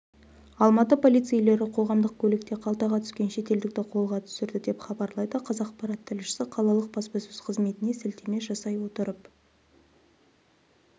алматы полицейлері қоғамдық көлікте қалтаға түскен шетелдікті қолға түсірді деп хабарлайды қазақпарат тілшісі қалалық баспасөз қызметіне сілтеме жасай отырып